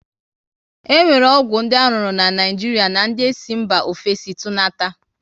E nwere ọgwụ dị aruru na Naịjiria na ndị esi mba ofesi tunata